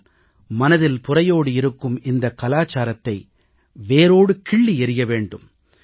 ஆனால் மனதில் புரையோடியிருக்கும் இந்தக் கலாச்சாரத்தை வேரோடு கிள்ளி எறிய வேண்டும்